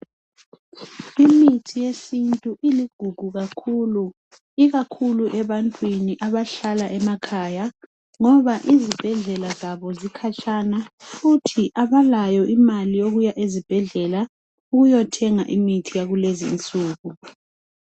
Imithi yesintu iligugu kakhulu ikakhulu ebantwini abahlala emakhaya ngoba izibhedlela zabo zikhatshana futhi abalayo imali yokuya ezibhedlela ukuyothenga imithi yakulezinsuku.